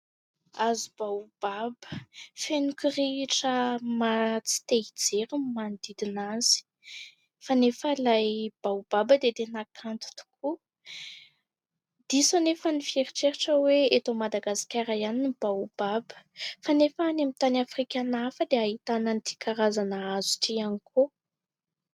Hazo baobaba feno kirihitra maha tsy te-hijery ny manodidina azy kanefa ilay baobaba dia tena kanto tokoa. Diso anefa ny fieritreretana hoe eto Madagasikara ihany ny baobaba kanefa any amin'ny tany afrikana hafa dia ahitana an'ity karazana hazo ity ihany koa.